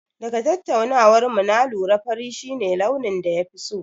Daga tattaunawar mu na lura fari shi ne launin da ya fi so.